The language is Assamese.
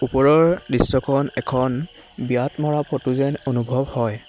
ওপৰৰ দৃশ্যখন এখন বিয়াত মৰা ফটো যেন অনুভৱ হয়।